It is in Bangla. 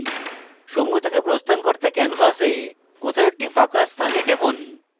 সমূহ থেকে প্রস্থান করতে canvas কোথাও একটি ফাঁকা স্থানে টিপুন